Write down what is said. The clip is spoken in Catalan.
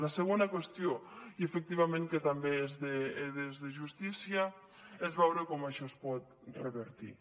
la segona qüestió i efectivament que també és de justícia és veure com això es pot revertir